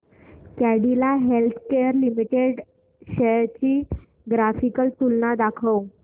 Cadila healthcare limited shares ची graphical तुलना दाखव